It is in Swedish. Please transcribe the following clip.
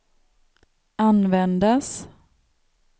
användas